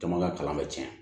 Jama ka kalan bɛ cɛn